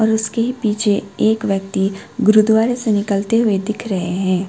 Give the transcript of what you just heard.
उसके पीछे एक व्यक्ति गुरुद्वारे से निकलते हुए दिख रहे हैं।